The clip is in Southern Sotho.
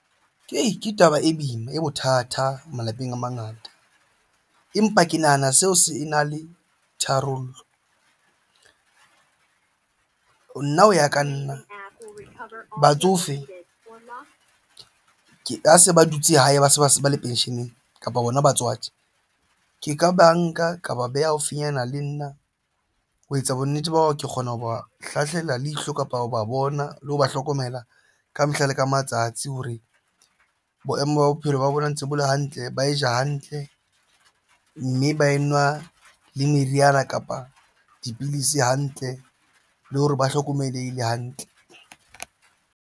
Ke taba e boima e bothata malapeng a mangata, empa ke nahana seo se na le tharollo nna hoya ka nna batsofe ona, ke ha se ba dutse hae, ba se ba se ba le pension-eng kapa bona batswadi ke ka banka ka ba beha haufinyana le nna ho etsa bonnete ba hore ke kgona ho ba hlahlela le ihlo kapa ho ba bona le ho ba hlokomela ka mehla le matsatsi hore boemo ba bophelo ba bona ntse bo le hantle. Ba e ja hantle mme ba enwa le meriana kapa dipidisi hantle le hore ba hlokomelehile hantle.